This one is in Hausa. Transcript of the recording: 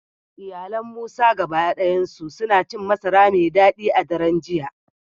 Iyalan Musa gaba dayansu suna cin masara mai dadi a daren jiya